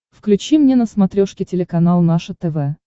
включи мне на смотрешке телеканал наше тв